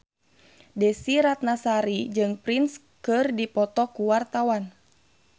Desy Ratnasari jeung Prince keur dipoto ku wartawan